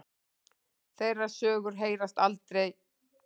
Þeirra sögur heyrast aldrei.